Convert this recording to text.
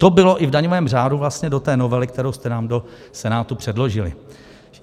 To bylo i v daňovém řádu vlastně do té novely, kterou jste nám do Senátu předložili.